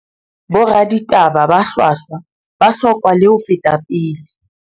Boraditaba ba hlwahlwa ba bohlokwa le ho feta pele